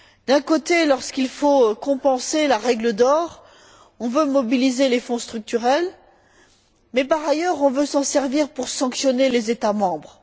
D'un côté, lorsqu'il faut compenser la règle d'or, on veut mobiliser les Fonds structurels mais, par ailleurs, on veut s'en servir pour sanctionner les États membres.